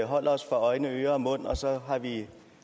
holder os for øjne ører og mund og så har vi